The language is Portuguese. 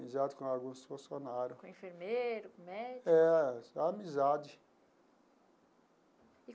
Amizade com alguns funcionário. Com enfermeiro, com médico? É, só amizade.